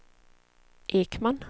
Ekman